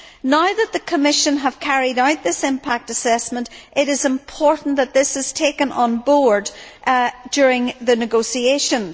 Now that the Commission has carried out this impact assessment, it is important that this is taken on board during the negotiations.